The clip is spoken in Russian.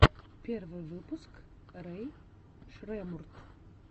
первый выпуск рэй шреммурд